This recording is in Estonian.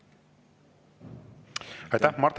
Aitäh!